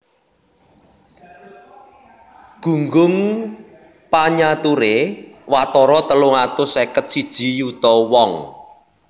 Gunggung panyaturé watara telung atus seket siji yuta wong